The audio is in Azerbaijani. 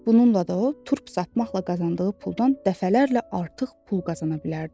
Bununla da o turp satmaqla qazandığı puldan dəfələrlə artıq pul qazana bilərdi.